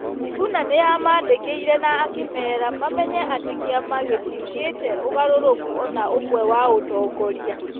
Sifuna nĩ amaandĩkĩire na akĩmera mamenye atĩ kĩama gĩtiĩkĩtĩ ũgarũrũku o na ũmwe wa ũtongoria.